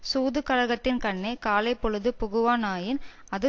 சூதுகழகத்தின்கண்ணே காலைப்பொழுது புகுவானாயின் அது